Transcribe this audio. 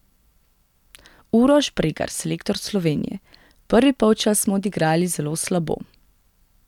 Uroš Bregar, selektor Slovenije: "Prvi polčas smo odigrali zelo slabo.